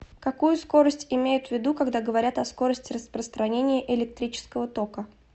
какую скорость имеют ввиду когда говорят о скорости распространения электрического тока